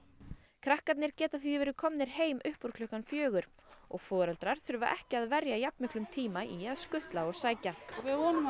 krakkar geta því verið komnir heim uppúr klukkan fjögur og foreldrar þurfa ekki að verja jafn miklum tíma í að skutla og sækja við vonum að